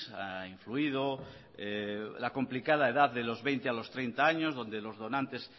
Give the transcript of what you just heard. ha influido la complicada edad de los veinte a los treinta años donde los donantes